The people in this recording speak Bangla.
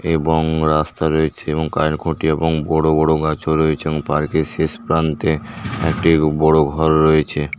এবং রাস্তা রয়েছে এবং খুঁটি এবং বড়ো বড়ো গাছও রয়েছে এবং পার্কের শেষ প্রান্তে একটি বড়ো ঘর রয়েছে।